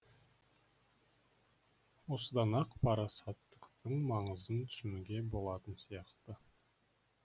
осыдан ақ парасаттықтың маңызын түсінуге болатын сияқты